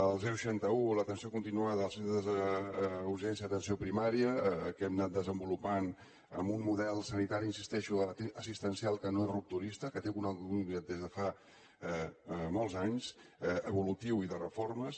el seixanta un l’atenció continuada els centres d’urgències a atenció primària que hem anat desenvolupant amb un model sanitari hi insisteixo assistencial que no és rupturista que té una continuïtat des de fa molts anys evolutiu i de reformes